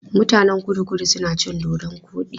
Mutanen Kudu-Kudu suna cin dodon koɗi.